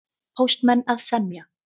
Póstmenn að semja